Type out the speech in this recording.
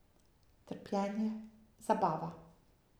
Trpljenje, zabava.